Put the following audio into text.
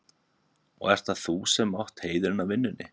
Og ert það þú sem átt heiðurinn af vinnunni?